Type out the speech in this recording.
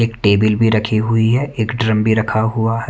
एक टेबल भी रखी हुई है एक ड्रम भी रखा हुआ है।